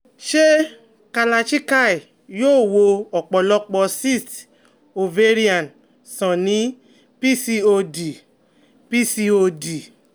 Ṣé Kalarchikai yóò wo ọ̀pọ̀lọpọ̀ cysts ovarian sàn ní PCOD? PCOD?